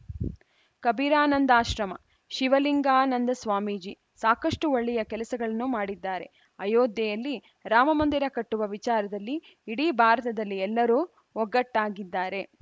ಕಬೀರಾನಂದಾಶ್ರಮ ಶಿವಲಿಂಗಾನಂದ ಸ್ವಾಮೀಜಿ ಸಾಕಷ್ಟುಒಳ್ಳೆಯ ಕೆಲಸಗಳನ್ನು ಮಾಡಿದ್ದಾರೆ ಅಯೋಧ್ಯೆಯಲ್ಲಿ ರಾಮಮಂದಿರ ಕಟ್ಟುವ ವಿಚಾರದಲ್ಲಿ ಇಡೀ ಭಾರತದಲ್ಲಿ ಎಲ್ಲರೂ ಒಗ್ಗಟ್ಟಾಗಿದ್ದಾರೆ